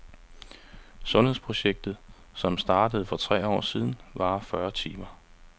Sundhedsprojektet, som startede for tre år siden, varer fyrre timer.